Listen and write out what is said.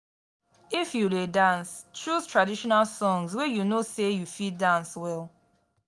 if you de dance choose traditional songs wey you know say you fit dance well